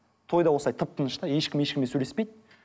тойда осылай тып тыныш та ешкім ешкіммен сөйлеспейді